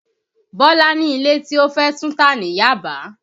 Bọ́lá ni ilé tí ó fé túntà ní Yaba